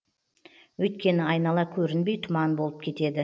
өйткені айнала көрінбей тұман болып кетеді